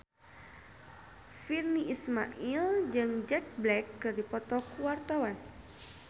Virnie Ismail jeung Jack Black keur dipoto ku wartawan